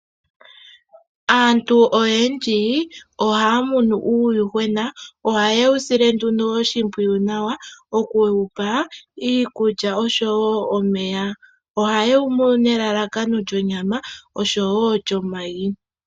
Aantu oyendji ohaya munu uuyuhwena. Ohaye wu sile nduno oshimpwiyu nawa, oku wu pa iikulya oshowo omeya. Ohaye wu munu nelalakano lyonyama oshowo lyomayi.